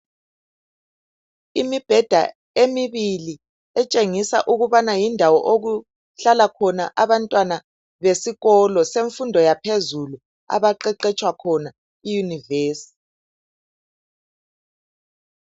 Imibheda emibili etshengisa ukubana ndindawo yokuhlala abantwana besikolo semfundo yaphezulu abaeqetshwa khona i univesithi.